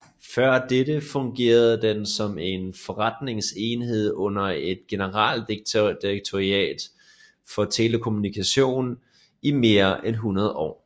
Før dette fungerede den som en forretningsenhed under et generaldirektorat for telekommunikation i mere end 100 år